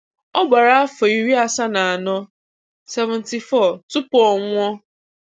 Ọ gbara afọ iri asaa na anọ seventy four tupu ọ nwụọ.